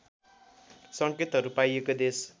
सङ्केतहरू पाइएको देश